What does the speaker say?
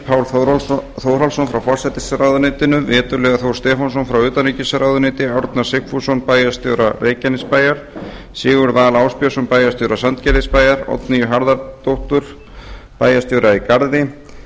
pál þórhallsson frá forsætisráðuneyti veturliða þór stefánsson frá utanríkisráðuneyti árna sigfússon bæjarstjóra reykjanesbæjar sigurð val ásbjörnsson bæjarstjóra sandgerðisbæjar oddnýju harðardóttur bæjarstjóra í garði